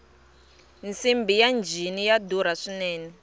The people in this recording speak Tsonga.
nsimbhi ya njhini ya durha swinene